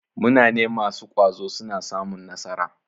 Munane masu ƙwazo suna samun nasara.